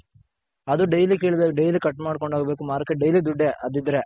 ಅದು Daily ಕಿಳ್ದೆ Daily Cut ಮಾಡ್ಕೊಂಡ್ ಹೋಗ್ ಬೇಕು Market ಗೆ Daily ದುಡ್ಡೆ ಅದಿದ್ರೆ.